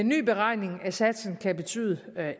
ny beregning af satsen kan betyde